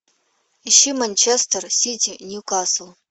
ищи манчестер сити ньюкасл